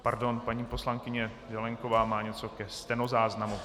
Pardon, paní poslankyně Zelienková má něco ke stenozáznamu.